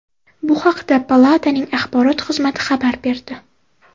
Bu haqda palataning axborot xizmati xabar berdi .